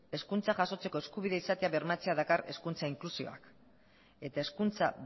hezkuntza jasotzeko eskubidea izatea bermatzea dakar hezkuntza inklusioak eta hezkuntza